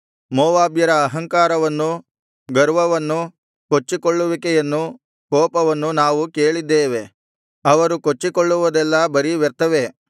ಮೋವಾಬ್ಯರ ಅಹಂಕಾರವನ್ನು ಗರ್ವವನ್ನು ಕೊಚ್ಚಿಕೊಳ್ಳುವಿಕೆಯನ್ನು ಕೋಪವನ್ನು ನಾವು ಕೇಳಿದ್ದೇವೆ ಅವರು ಕೊಚ್ಚಿಕೊಳ್ಳುವುದೆಲ್ಲಾ ಬರೀ ವ್ಯರ್ಥವೇ